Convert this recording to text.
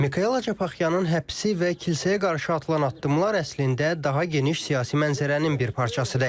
Mikel Acapaxyanın həbsi və kilsəyə qarşı atılan addımlar əslində daha geniş siyasi mənzərənin bir parçasıdır.